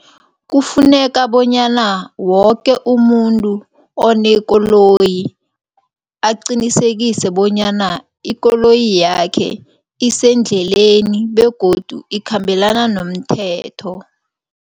Kufuneka bonyana woke umuntu onekoloyi aqinisekise bonyana ikoloyi yakhe isendleleni begodu ikhambelana nomthetho.